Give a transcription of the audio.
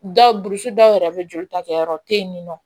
Dɔw burusi dɔw yɛrɛ bɛ joli ta kɛ yɔrɔ te yen ni nɔ